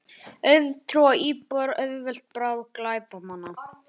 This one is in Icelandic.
Auðtrúa íbúar auðveld bráð glæpamanna